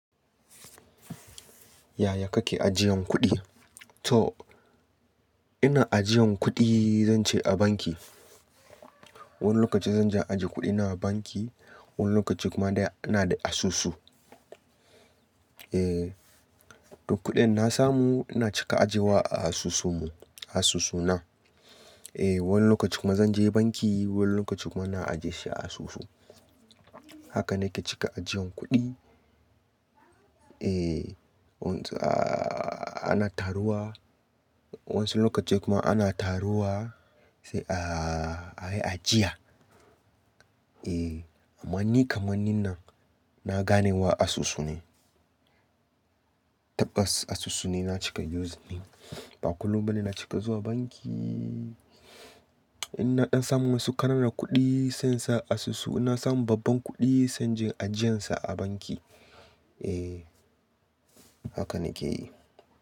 Yaya kake ajiyan kuɗi? To ina ajiyan kuɗi zance a banki. Wani lokaci zan je ajiye kuɗi na a banki, wani lokaci kuma dai ina da asusu. Eh, to kuɗin na samu ina cika ajiyewa a asusu mu asusu na. Eh, wani lokaci kuma zan je banki wani lokaci kuma na ajiye shi a asusu. Haka ne ke cika ajiyan kuɗi. Eh, ana taruwa wasu lokatai kuma ana taruwa sai a ajiye. Eh, amani kamar ninna na ganewa asusu ne. Tabbas asusu ne na cika use ne. Ba kullum ba ne na cika zuwa banki. In na ɗan samu wasu ƙananan kuɗi sai in sa asusu. Na samu babban kuɗi zan je ajiyansa a banki. Eh, haka nike yi.